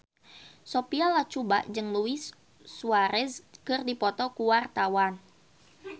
Sophia Latjuba jeung Luis Suarez keur dipoto ku wartawan